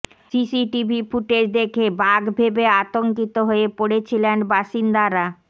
CCTV footage দেখে বাঘ ভেবে আতঙ্কিত হয়ে পড়েছিলেন বাসিন্দারা